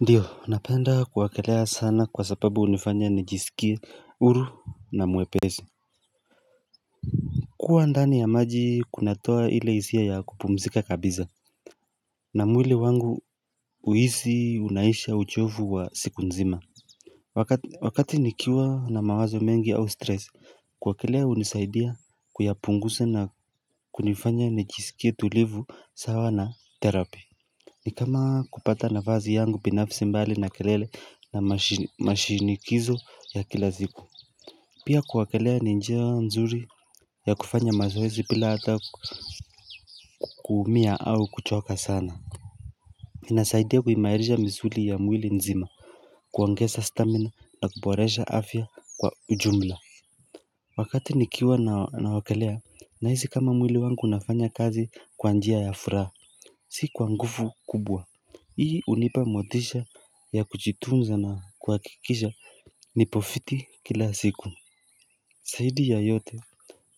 Ndiyo napenda kuwakelea sana kwa sababu hunifanya nijisikie huru na mwepesi kuwa ndani ya maji kunatoa ile hisia ya kupumzika kabisa na mwili wangu uhisi unaisha uchovu wa siku nzima Wakati nikiwa na mawazo mengi au stress kuwakelea unisaidia kuyapunguza na kunifanya nijisikie tulivu sawa na terapi ni kama kupata nafasi yangu binafsi mbali na kelele na mashinikizo ya kila siku Pia kuwakelea ni njia nzuri ya kufanya mazoezi bila hata kuumia au kuchoka sana inasaidia kuimairisha msuli ya mwili nzima kuongeza stamina na kuboresha afya kwa ujumla Wakati nikiwa nawekelea na hisi kama mwili wangu unafanya kazi kwa njia ya furaha Si kwa nguvu kubwa Hii hunipa motisha ya kujitunza na kuakikisha nipo fiti kila siku Zaidi ya yote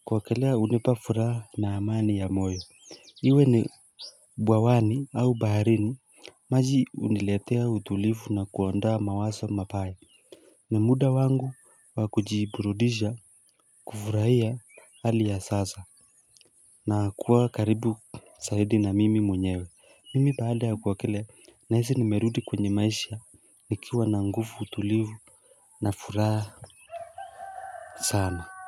kwa kuekelea hunipa furaha na amani ya moyo Iwe ni bwawani au baharini maji huniletea utulivu na kuondoa mawazo mapayea ni muda wangu wa kujiburudisha kufurahia hali ya sasa na kuwa karibu zaidi na mimi mwenyewe Mimi baada ya kuogelea nahisi nimerudi kwenye maisha nikiwa na nguvu tulivu na furaha sana.